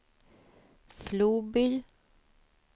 Floby